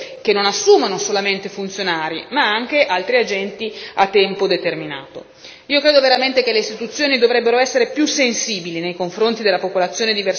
La stessa domanda dovrebbe essere posta poi alle decine di agenzie europee, che non assumono solamente funzionari, ma anche altri agenti a tempo determinato.